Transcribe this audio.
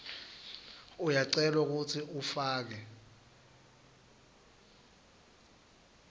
uyacelwa kutsi ufake